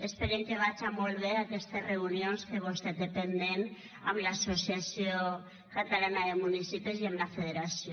esperem que vagen molt bé aquestes reunions que vostè té pendents amb l’associació catalana de municipis i amb la federació